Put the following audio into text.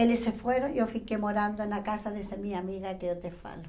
Eles se foram e eu fiquei morando na casa dessa minha amiga que eu te falo.